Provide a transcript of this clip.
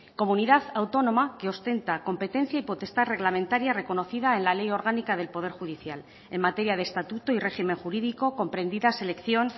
comunidad autónoma que ostenta competencia y potestad reglamentaria reconocida en la ley orgánica del poder judicial en materia de estatuto y régimen jurídico comprendida selección